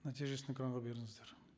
нәтижесін экранға беріңіздер